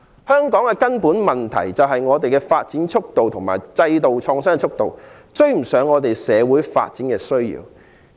香港的根本問題，是我們的發展及制度創新的速度追不上社會發展的需要。